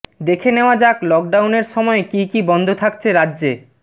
দেখে নেওয়া যাক লকডাউনের সময় কী কী বন্ধ থাকছে রাজ্যে